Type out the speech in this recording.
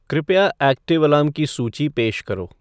कृपया active alarm की सूची पेश करो